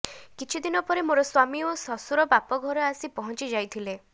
କିଛି ଦିନ ପରେ ମୋର ସ୍ୱାମୀ ଓ ଶ୍ୱଶୁର ବାପଘରେ ଆସି ପହଞ୍ଚି ଯାଇଥିଲେ